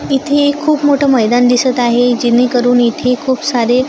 इथे खूप मोठं मैदान दिसतं आहे. जेणेकरून इथे खूप सारे--